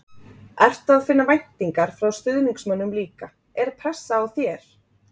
Ertu að finna væntingar frá stuðningsmönnum líka, er pressa á þér?